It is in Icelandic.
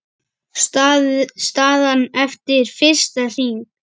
Staðan eftir fyrsta hring